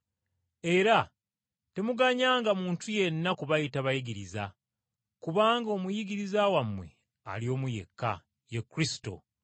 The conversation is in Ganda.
Era temuganyanga muntu yenna kubayita ‘bayigiriza,’ kubanga omuyigiriza wammwe ali omu yekka, ye Kristo.